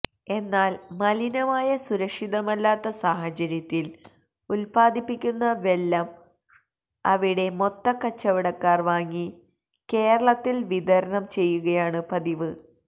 എന്നാൽ മലിനമായ സുരക്ഷിതമല്ലാത്ത സാഹചര്യത്തിൽ ഉത്പ്പാദിപ്പിക്കുന്ന വെല്ലം അവിടെ മൊത്ത കച്ചവടക്കാർ വാങ്ങി കേരളത്തിൽ വിതരണം ചെയ്യുകയാണ് പതിവ്